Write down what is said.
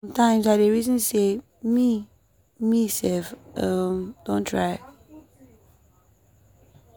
sometimes i dey reason sey me me sef um don try.